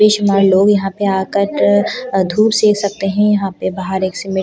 बेशुमार लोग यहां पे आकट अ धूप सेंक सकते हैं यहां पे बाहर एक सीमेंट की बोरी प --